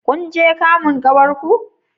Kun je kamun ƙawar ku?